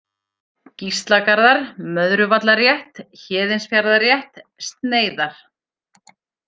Gíslagarðar, Möðruvallarétt, Héðinsfjarðarrétt, Sneiðar